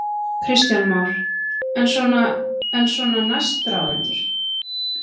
Kristján Már: En svona, en svona næstráðendur?